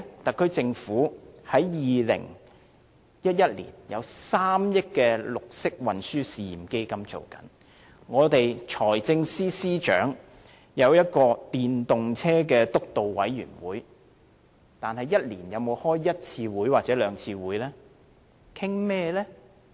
特區政府在2011年設立了3億元的綠色運輸試驗基金，財政司司長轄下也設立了一個推動使用電動車輛督導委員會，但一年有否召開一兩次會議？